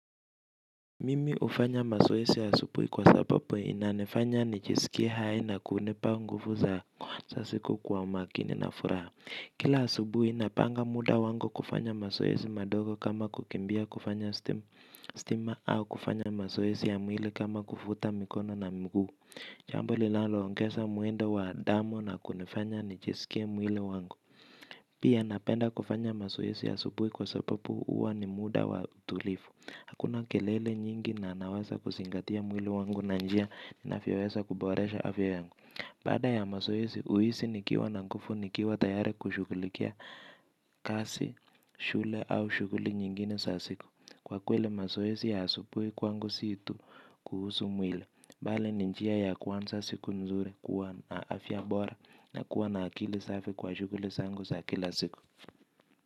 Mimi hufanya mazoezi asubuhi kwa sababu inanifanya nijisikie hai na kunipa nguvu za kuanza siku kwa umakini na furaha. Kila asubuhi napanga muda wangu kufanya mazoezi madogo kama kukimbia kufanya stima au kufanya mazoezi ya mwili kama kufuta mikono na mguu. Jambo lilaoongeza mwendo wa damu na kunifanya nijisikie mwili wangu. Pia napenda kufanya mazoezi ya asubuhi kwa sababu huo ni muda wa tulivu. Hakuna kelele nyingi na naweza kuzingatia mwili wangu na njia navyoweza kuboresha afya yangu. Baada ya mazoezi huhisi nikiwa na nguvu nikiwa tayari kushughulikia kazi, shule au shughuli nyingine sasa siku kwa kweli mazoezi asubuhi kwangu si tu kuhusu mwili bali ni njia ya kuanza siku nzuri kuwa na afya bora na kuwa na akili safi kwa shughuli zangu za kila siku.